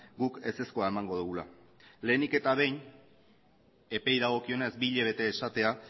guk ezezkoa emango dugula lehenik eta behin epeei dagokionez bi hilabete esatea